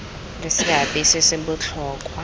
le seabe se se botlhokwa